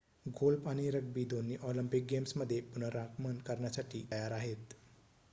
golf आणि rugby दोन्ही Olympic गेम्समध्ये पुनरागमन करण्यासाठी तयार आहेत